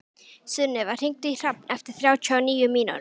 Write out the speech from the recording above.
Sunneva, hringdu í Hrafn eftir þrjátíu og níu mínútur.